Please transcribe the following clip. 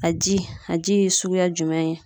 A ji , a ji ye suguya jumɛn ye?